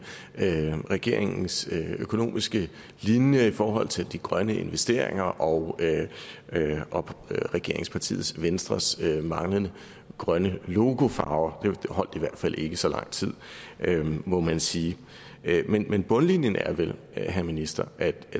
regeringens økonomiske linje i forhold til de grønne investeringer og og regeringspartiet venstres manglende grønne logofarve det holdt i hvert fald ikke i så lang tid må man sige men bundlinjen er vel herre minister at